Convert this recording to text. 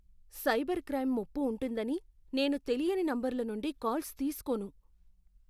Cyber crime ముప్పు ఉంటుందని నేను తెలియని నంబర్ల నుండి కాల్స్ తీసుకోను.